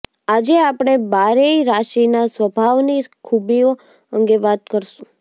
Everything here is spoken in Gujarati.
આજે આપણે બારેય રાશિના સ્વભાવની ખુબીઓ અંગે વાત કરીશુ